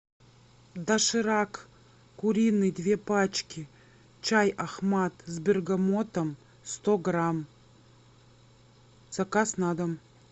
доширак куриный две пачки чай ахмад с бергамотом сто грамм заказ на дом